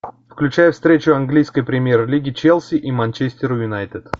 включай встречу английской премьер лиги челси и манчестер юнайтед